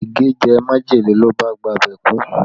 Ige jẹ majele ló bá gba ibẹ̀ kú